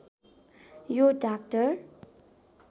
यो डाक्टर